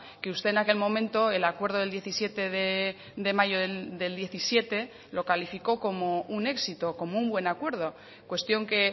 que usted en aquel momento el acuerdo del diecisiete de mayo del diecisiete lo calificó como un éxito como un buen acuerdo cuestión que